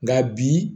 Nka bi